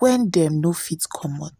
wen dem no fit comot.